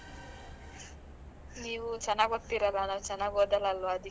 ನೀವು ಚೆನ್ನಾಗಿ ಓದ್ತಿರಲ್ಲ. ನಾವು ಚೆನ್ನಾಗಿ ಓದಲಾಲ್ವಾ ಅದಕ್ಕೆ.